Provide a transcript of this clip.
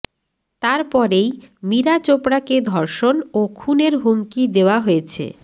তারপরেই মীরা চোপড়াকে ধর্ষণ ও খুনের হুমকি দেওয়া হয়েছে